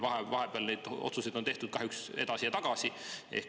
Vahepeal on meil neid otsuseid tehtud kahjuks edasi ja tagasi.